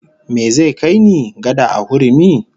Me zai kai ni, gada a hurumi?